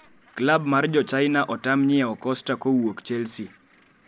Klab mar jochina otam nyiewo Costa kowuok Chelsea